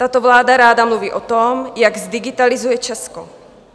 Tato vláda ráda mluví o tom, jak zdigitalizuje Česko.